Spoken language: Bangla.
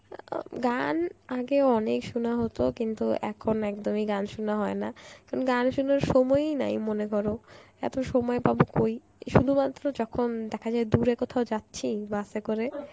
গান আগে অনেক শোনা হত কিন্তু এখন একদমই গান শোনা হয় না কারণ গান শুনবার সময়ই নাই মনে করো, এত সময় পাবো কই শুধুমাত্র যখন দেখা যায় দূরে কোথাও যাচ্ছি bus এ করে